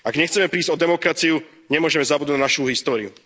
Ak nechcem prísť o demokraciu, nemôžeme zabudnúť na našu históriu.